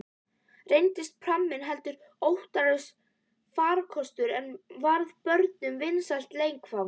Reyndist pramminn heldur ótraustur farkostur, en varð börnunum vinsælt leikfang.